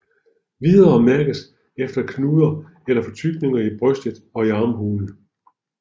Videre mærkes efter knuder eller fortykninger i brystet og i armhulen